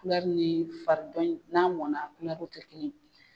ni fari dɔ in n'a mɔnna a kulɛriw tɛ kelen ye.